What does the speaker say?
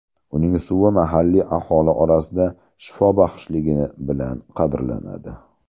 Uning suvi mahalliy aholi orasida shifobaxshligi bilan qadrlanadi.